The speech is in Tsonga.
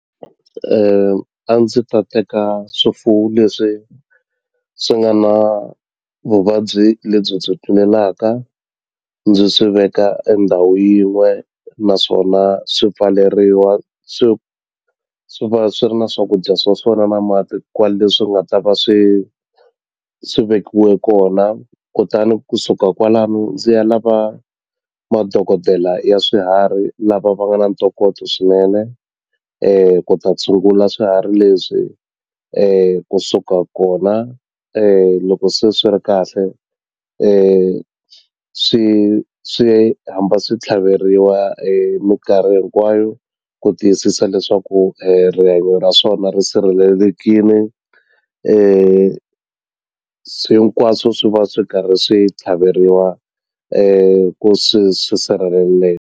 a ndzi ta teka swifuwo leswi swi nga na vuvabyi lebyi byi tlulelaka ndzi swi veka e ndhawu yin'we naswona swi pfaleriwa swi swi va swi ri na swakudya swa swona na mati kwale swi nga ta va swi swi vekiwe kona kutani kusuka kwalano ndzi ya lava madokodela ya swiharhi lava va nga na ntokoto swinene ku ta tshungula swiharhi leswi kusuka kona loko se swi ri kahle swi swi hamba swi tlhaveriwa minkarhi hinkwayo ku tiyisisa leswaku rihanyo ra swona ri sirhelelekini hinkwaswo swi va swi karhi swi tlhaveriwa ku swi swi sirheleleka.